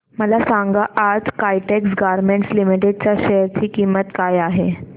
मला सांगा आज काइटेक्स गारमेंट्स लिमिटेड च्या शेअर ची किंमत काय आहे